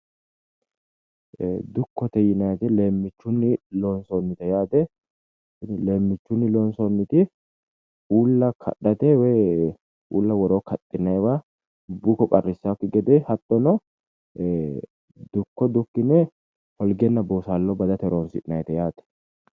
Dukkote yinayiiti leemmiichunni loonsoonnite yaate. Tini leemmiichunni loonsoonniti uulla kadhate woyi uulla woroo kaxxinayiwa buko qaarrisaakki gede hattono dukko dukkine holgenna boosaallo badate horonsi’nayiite yaate.